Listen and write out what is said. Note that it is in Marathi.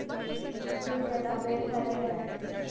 ते त्याचा गैरफायदा घेतात.